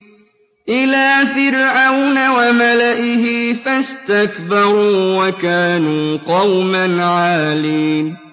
إِلَىٰ فِرْعَوْنَ وَمَلَئِهِ فَاسْتَكْبَرُوا وَكَانُوا قَوْمًا عَالِينَ